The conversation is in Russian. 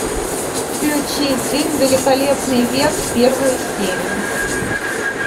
включи фильм великолепный век первую серию